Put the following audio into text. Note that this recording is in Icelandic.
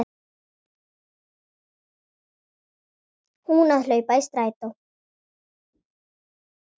Hún að hlaupa í strætó.